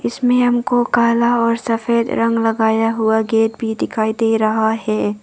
इसमें हमको काला और सफेद रंग लगाया हुआ गेट भी दिखाई दे रहा है।